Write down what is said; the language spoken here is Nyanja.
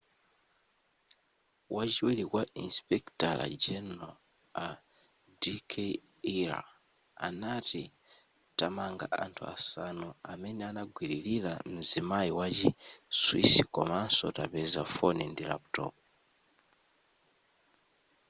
wachiwiri kwa insipekitala general a d k arya anati tamanga anthu asanu amene anagwililira mzimayi wa chi swiss komanso tapeza foni ndi laputopu